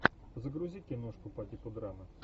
загрузи киношку по типу драмы